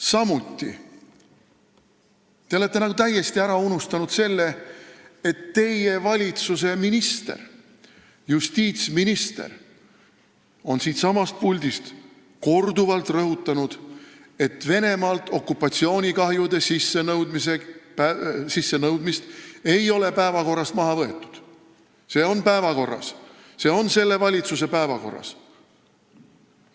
Samuti olete te nagu täiesti ära unustanud selle, et teie valitsuse minister, justiitsminister, on siitsamast puldist korduvalt rõhutanud, et Venemaalt okupatsioonikahjude sissenõudmist ei ole päevakorrast maha võetud, see on päevakorras, see on selle valitsuse päevakorras.